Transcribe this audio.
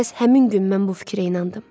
Məhz həmin gün mən bu fikirə inandım.